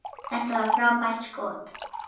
Þetta var frábært skot.